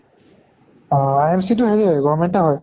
IMC টো হেৰি government য়ে হয়।